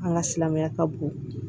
An ka silamɛya ka bon